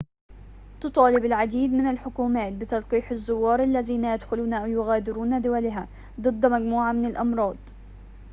تطالب العديد من الحكومات بتلقيح الزوار الذين يدخلون أو يغادرون دولها ضد مجموعة من الأمراض